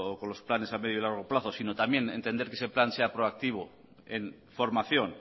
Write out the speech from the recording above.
con los planes a medio largo plazo sino también entender que ese plan sea proactivo en formación